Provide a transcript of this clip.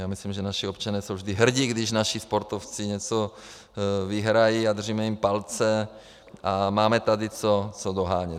Já myslím, že naši občané jsou vždy hrdí, když naši sportovci něco vyhrají, a držíme jim palce a máme tady co dohánět.